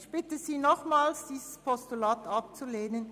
Ich bitte Sie nochmals, dieses Postulat abzulehnen.